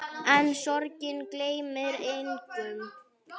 En sorgin gleymir engum.